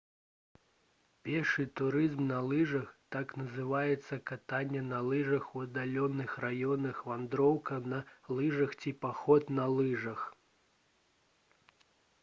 пешы турызм на лыжах так называецца катанне на лыжах у аддаленых раёнах вандроўка на лыжах ці паход на лыжах